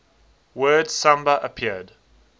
word samba appeared